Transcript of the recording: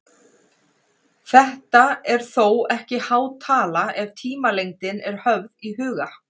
Þetta er þó ekki há tala ef tímalengdin er höfð í huga.